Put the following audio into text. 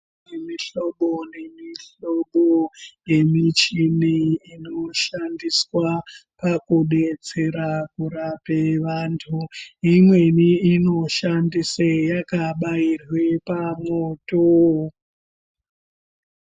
Kune mihlobo nemihlobo yemichini inoshandiswa pakudetsera kurape vantu imweni inoshandise yakabairwe pamwoto.